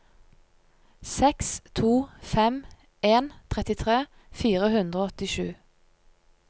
seks to fem en trettitre fire hundre og åttisju